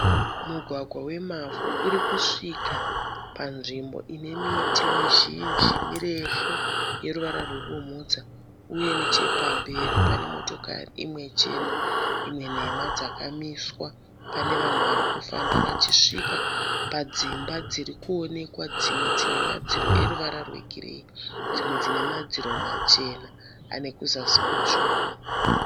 Mugwagwa wemavhu urikusvika panzvimbo ine miti mizhinji mirefu yeruvara rwebumhudza uye nechepamberi pane motokari imwe chena imwe nhema dzakamiswa. Pane vanhu varikufamba vachisvika padzimba dzirikuonekwa dzimwe dzine madziro eruvara rwegireyi dzimwe dzinemadziro machena anekuzasi kutsvuku.